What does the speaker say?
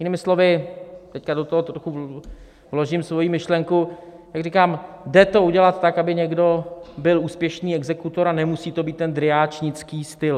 Jinými slovy - teď do toho trochu vložím svoji myšlenku: jak říkám, jde to udělat tak, aby někdo byl úspěšný exekutor, a nemusí to být ten dryáčnický styl.